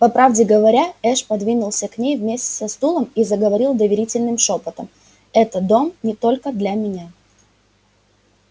по правде говоря эш подвинулся к ней вместе со стулом и заговорил доверительным шёпотом это дом не только для меня